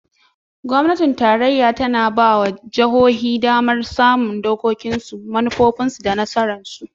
Gwamnatin Tarayya ta na ba wa jihohi damar samun dokokinsu, manufofinsu, da tsarinsu.